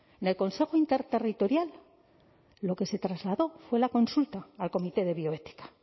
del consejo interterritorial lo que se trasladó fue la consulta al comité de bioética